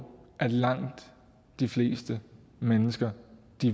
langt de fleste mennesker